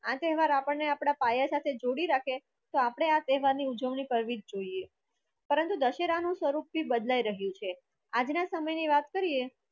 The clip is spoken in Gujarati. આ તહેવાર આપણને આપણા પાયા સાથે જોડી રાખે તો આપણે આ તહેવારની ઉજવણી કરવી જોઈએ પરંતુ દશેરાનો સ્વરૂપ બદલાઈ રહ્યું છે આજના સમયની વાત કરીએ